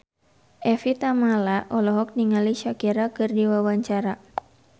Evie Tamala olohok ningali Shakira keur diwawancara